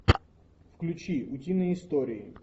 включи утиные истории